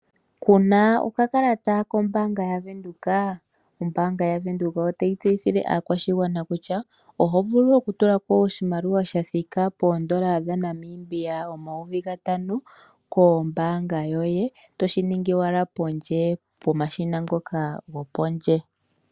Kuna okakalata kombaanga yaWindhoek, ombaanga yaWindhoek otayi tseyithile aakwashigwana kutya ohovulu okutula ko oshimaliwa shathika N$5000 kombaanga yoye toshiningi owala pondje pomashina ngoka go pondje.